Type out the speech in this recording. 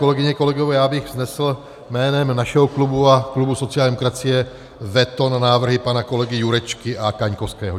Kolegyně, kolegové, já bych vznesl jménem našeho klubu a klubu sociální demokracie veto na návrhy pana kolegy Jurečky a Kaňkovského.